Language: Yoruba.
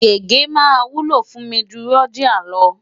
Gègé máa wúlò fún mi ju Rodiah lọ.